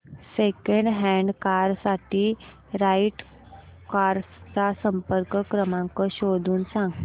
second hand car साठी Right Cars चा संपर्क क्रमांक शोधून सांग